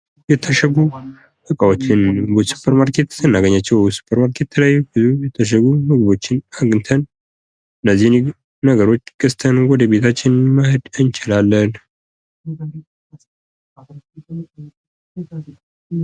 የታሸጉ እቃዎች ወይም ምግቦች በሱፐርማርኬት ስናገኛቸው በሱፐርማርኬት ውስጥ ብዙ ይርታሸጉ ምግቦችን አግኝተን፤ እነዚህ ነገሮች ገዝተን ወደ ቤታችን ማሄድ እንችላለን።